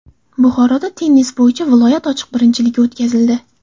Buxoroda tennis bo‘yicha viloyat ochiq birinchiligi o‘tkazildi.